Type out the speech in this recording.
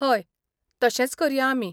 हय, तशेंच करया आमी.